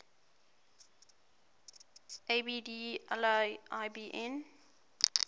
abd allah ibn